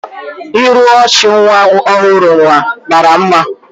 Iru ọchị nwa ọhụrụ ahụ mara mma